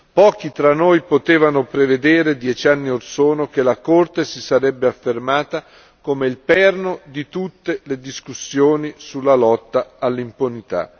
Pochi tra noi potevano prevedere, dieci anni orsono, che la Corte si sarebbe affermata come il perno di tutte le discussioni sulla lotta all'impunità.